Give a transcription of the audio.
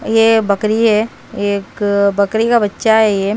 ये बकरी है एक बकरी का बच्चा है ये।